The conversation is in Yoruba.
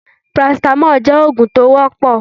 paracetamol jẹ òógun tí o wọpọ